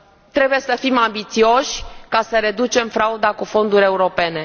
Trebuie să fim ambițioși ca să reducem frauda cu fonduri europene.